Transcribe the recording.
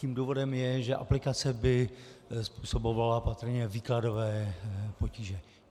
Tím důvodem je, že aplikace by způsobovala patrně výkladové potíže.